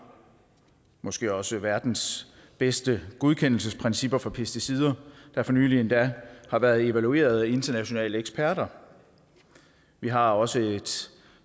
måske også verdens bedste godkendelsesprincipper for pesticider der for nylig endda har været evalueret af internationale eksperter vi har også et